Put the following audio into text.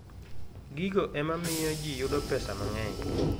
Gigo ema miyo ji yudo pesa mang'eny.